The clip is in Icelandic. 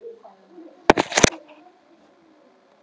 Hvenær koma þeir aftur með einhvern mat?